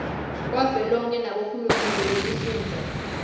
wavelonkhe nabohulumende betifundza